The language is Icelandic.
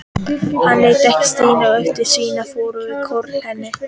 Hann leit líka á Stínu og virtist skynja hvað fór fram í kollinum á henni.